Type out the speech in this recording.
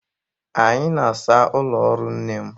Anyị na-asa ụlọ ọrụ nne m.